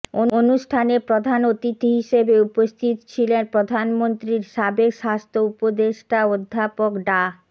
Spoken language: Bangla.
অনুষ্ঠানে প্রধান অতিথি হিসেবে উপস্থিত ছিলেন প্রধানমন্ত্রীর সাবেক স্বাস্থ্য উপদেষ্টা অধ্যাপক ডা